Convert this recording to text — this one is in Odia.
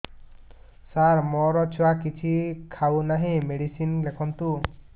ସାର ମୋ ଛୁଆ କିଛି ଖାଉ ନାହିଁ ମେଡିସିନ ଲେଖନ୍ତୁ